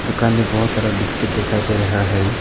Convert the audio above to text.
दुकान में बहोत सारा बिस्किट दिखाई दे रहा है।